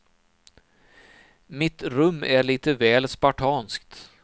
Mitt rum är lite väl spartanskt.